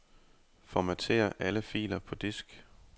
Formater alle filer på disk.